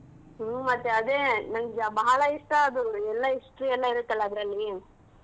ಹ್ಮ್ ಮತ್ತೆ ಅದೆ ನಂಗ್ಯ ಬಹಳ ಇಷ್ಟಾ ಅದು ಎಲ್ಲಾ history ಎಲ್ಲಾ ಇರುತ್ತ ಅಲಾ ಅದ್ರಲ್ಲಿ.